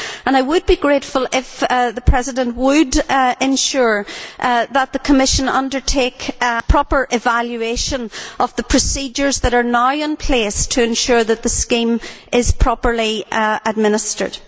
I would be grateful if the President would ensure that the Commission undertake proper evaluation of the procedures that are now in place to ensure that the scheme is properly administered.